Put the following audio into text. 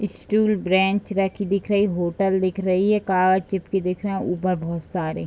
Stool bench रखी दिख रही है होटल दिख रही है कार्ड चिपकी दिख रही है ऊपर बहुत सारे।